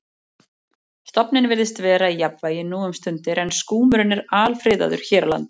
Stofninn virðist vera í jafnvægi nú um stundir en skúmurinn er alfriðaður hér á landi.